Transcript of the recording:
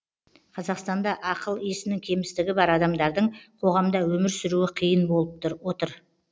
қазақстанда ақыл есінің кемістігі бар адамдардың қоғамда өмір сүруі қиын болып отыр